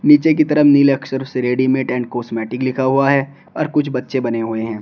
पीछे की तरफ नीले अक्षर से रेडीमेड एंड कॉस्मेटिक लिखा हुआ है और कुछ बच्चे बने हुए हैं।